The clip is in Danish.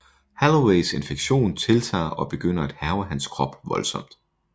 Holloways infektion tiltager og begynder at hærge hans krop voldsomt